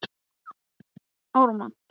Funduð þið einkennilega lykt?